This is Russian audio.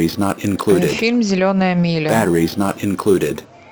фильм зеленая миля